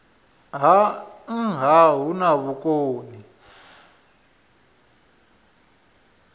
ha nha hu na vhukoni